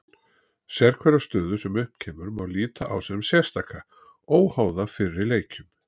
Sérhverja stöðu sem upp kemur má líta á sem sérstaka, óháða fyrri leikjum.